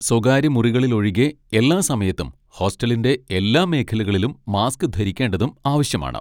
സ്വകാര്യ മുറികളിലൊഴികെ എല്ലാ സമയത്തും ഹോസ്റ്റലിന്റെ എല്ലാ മേഖലകളിലും മാസ്ക് ധരിക്കേണ്ടതും ആവശ്യമാണ്.